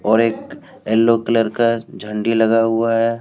और एक yellow colour का झंडी लगा हुआ है।